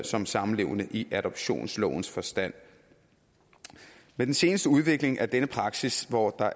som samlevende i adoptionslovens forstand med den seneste udvikling af denne praksis hvor der